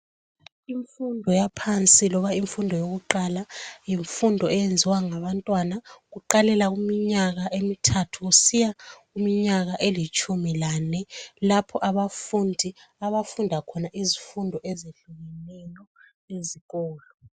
Imfundo yaphansi loba imfundo yakuqala, yimfundo eyenziwa ngabantwana kuqalele kuminyaka emithathu kusiya kuminyaka elitshumi lanye. Lapha abafundi, abafunda khona izifundo ezehlukeneyo ezikolo.